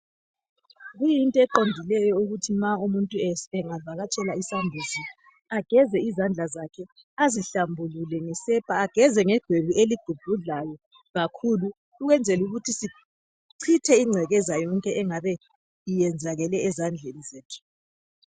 Kuyinto eqondileyo ukuthi ma umuntu engavakatshela isambuzi ageze izandla zakhe azihlambulule ngesepa ageze ngegwebu elibhubhudlayo kakhulu, ukwenzela ukuthi sichithe ingcekeza yonke engabe iyenzakele ezandleni zethu.